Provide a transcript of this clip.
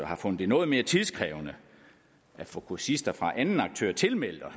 har fundet det noget mere tidkrævende at få kursister fra anden aktør tilmeldt og